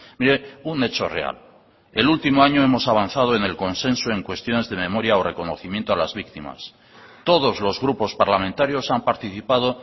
mire un hecho real el último año hemos avanzado en el consenso en cuestiones de memoria o reconocimiento a las víctimas todos los grupos parlamentarios han participado